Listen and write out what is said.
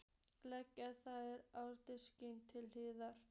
Leggið þær á disk til hliðar.